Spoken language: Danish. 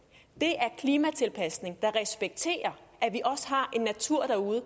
det er klimatilpasning der respekterer at vi har en natur derude